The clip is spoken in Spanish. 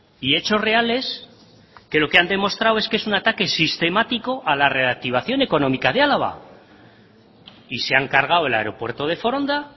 y hechos reales que lo que han demostrado es que es un ataque sistemático a la reactivación económica de álava y se han cargado el aeropuerto de foronda